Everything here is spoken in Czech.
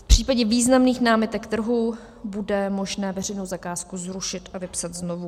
V případě významných námitek trhu bude možné veřejnou zakázku zrušit a vypsat znovu.